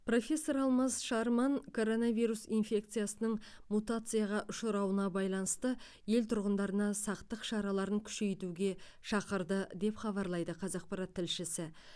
профессор алмаз шарман коронавирус инфекциясының мутацияға ұшырауына байланысты ел тұрғындарына сақтық шараларын күшейтуге шақырды деп хабарлайды қазақпарат тілшісі